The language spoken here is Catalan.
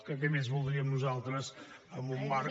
què més voldríem nosaltres en un marc